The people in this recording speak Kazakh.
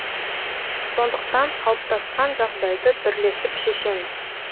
сондықтан қалыптасқан жағдайды бірлесіп шешеміз